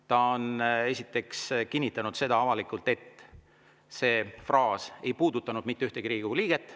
Ta on kinnitanud avalikult, et see fraas ei puudutanud mitte ühtegi Riigikogu liiget.